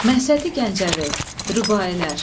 Məsəti Gəncəvi. Rübaiilər.